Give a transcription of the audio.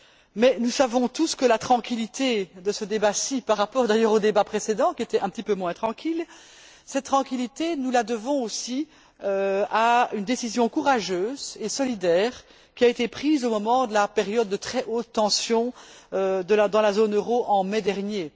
Mais nous savons tous que la tranquillité de ce débat par rapport d'ailleurs au débat précédent qui était un petit peu moins tranquille nous la devons aussi à une décision courageuse et solidaire qui a été prise au moment de la période de très haute tension dans la zone euro en mai dernier.